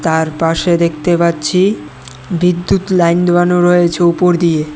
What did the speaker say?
তার পাশে দেখতে পাচ্ছি বিদ্যুৎ লাইন দেওয়ান রয়েছে উপর দিয়ে।